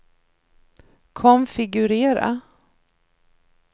konfigurera